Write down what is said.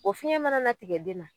O fiɲɛ mana na tigɛ den na